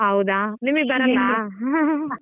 ಹೌದಾ ನಿಮ್ಗೆ ಬರಲ್ಲ .